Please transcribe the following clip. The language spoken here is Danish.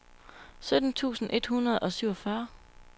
sytten tusind et hundrede og syvogfyrre